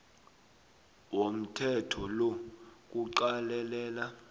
womthetho lo kuqalelela